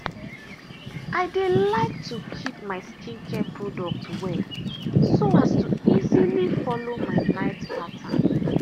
i dey like to to keep my skincare products well so as to easily follow my night pattern.